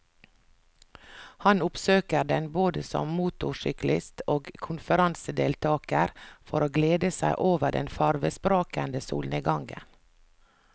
Han oppsøker den både som motorsyklist og konferansedeltager for å glede seg over den farvesprakende solnedgangen.